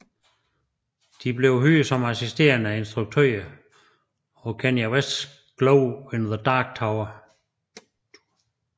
De blev hyret som assisterende instruktører på Kanye Wests Glow in the Dark Tour